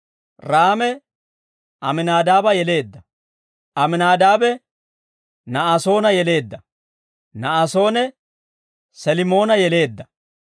Raame Aminaadaaba yeleedda; Aminaadaabe, Na'asoona yeleedda; Na'asoone, Selimoona yeleedda.